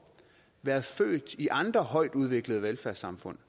været født i andre højtudviklede velfærdssamfund